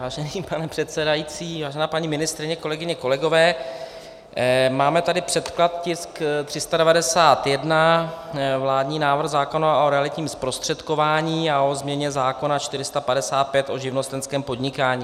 Vážené pane předsedající, vážená paní ministryně, kolegyně, kolegové, máme tady předklad, tisk 391, vládní návrh zákona o realitním zprostředkování a o změně zákona 455 o živnostenském podnikání.